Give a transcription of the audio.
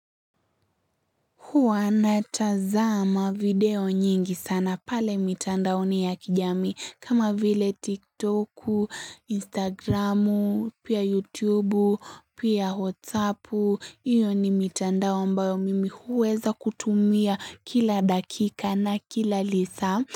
Huwa natazama video nyingi sana pale mitandaoni ya kijamii kama vile tiktoku, instagram, pia youtube, pia whatsapp, hiyo ni mitandao ambao mimi huweza kutumia kila dakika na kila lisaa.